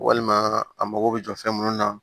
Walima a mago bɛ jɔ fɛn minnu na